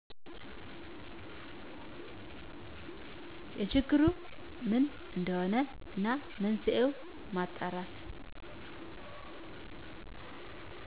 የችግሩ ምን እደሆነ እና መንስኤውን ማጣራት።